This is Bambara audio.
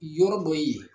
Yɔrɔ dɔ ye